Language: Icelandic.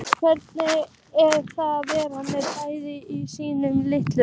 Hvernig er að vera með bræðrum sínum í liðinu?